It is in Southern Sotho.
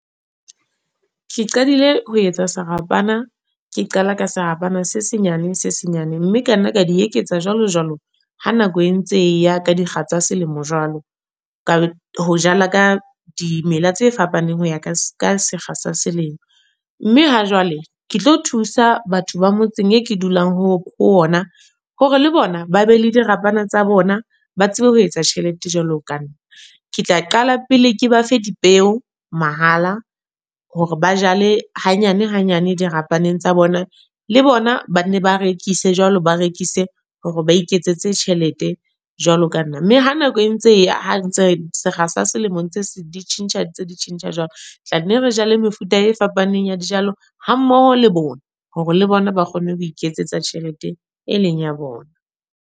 Ke qadile ho etsa serapana, ke qala ka serapa se se nyane se se nyane. Mme ka nna ka di eketsa jwalo, jwalo ha nako e ntse ya ka dikga tsa selemo jwalo. Ka ho jala ka dimela tse fapaneng ho ya ka sekga sa selemo. Mme ha jwale, ke tlo thusa batho ba motseng e ke dulang ho ona hore le bona ba be le dirapana tsa bona. Ba tsebe ho etsa tjhelete jwalo ka nna. Ke tla qala pele ke ba fe dipeo, mahala. Hore ba jale hanyane hanyane dirapaneng tsa bona. Le bona ba nne ba rekise jwalo, ba rekise hore ba iketsetse tjhelete jwalo ka nna. Mme ha nako e ntse e ya, ha ntse re sekga sa selemong se di tjhentjhang, di tjhentjha jwalo. Tlanne re jale mefuta e fapaneng ya dijalo, ha mmoho le bona. Hore le bona ba kgone ho iketsetsa tjhelete e leng ya bona.